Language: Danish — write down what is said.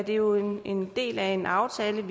jo en del af en aftale